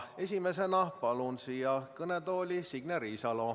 Esimesena palun siia kõnetooli Signe Riisalo.